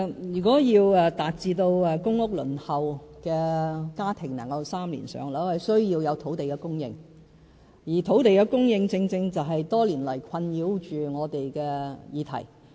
如果要達致輪候公屋的家庭能於3年"上樓"，需要有土地供應，而土地供應正正是多年來困擾着我們的議題。